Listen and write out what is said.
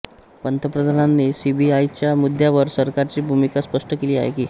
पंतप्रधानांनी सीबीआयच्या मुद्द्यावर सरकारची भूमिका स्पष्ट केली आहे की